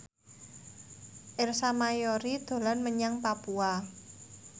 Ersa Mayori dolan menyang Papua